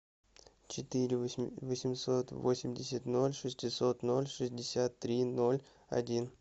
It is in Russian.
четыре восемьсот восемьдесят ноль шестьсот ноль шестьдесят три ноль один